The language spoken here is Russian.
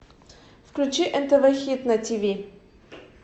включи нтв хит на тиви